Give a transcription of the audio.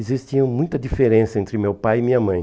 Existia muita diferença entre meu pai e minha mãe.